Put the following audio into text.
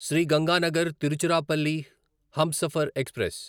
Shri Ganganagar Tiruchirappalli Humsafar express